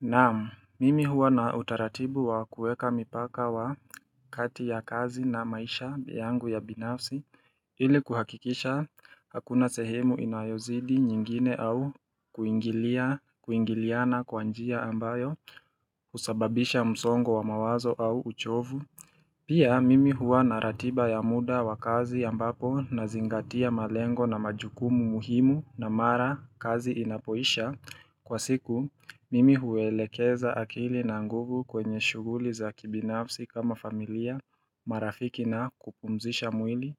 Naam, mimi huwa na utaratibu wa kuweka mipaka wa kati ya kazi na maisha yangu ya binafsi, ili kuhakikisha hakuna sehemu inayozidi nyingine au kuingilia kuingiliana na kwa njia ambayo, husababisha msongo wa mawazo au uchovu. Pia mimi huwa na ratiba ya muda wa kazi ambapo nazingatia malengo na majukumu muhimu na mara kazi inapoisha kwa siku mimi huwelekeza akili na nguvu kwenye shughuli za kibinafsi kama familia marafiki na kupumzisha mwili.